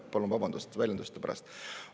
Palun vabandust väljenduste pärast!